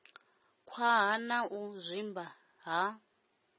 khwaṱha na u zwimba ha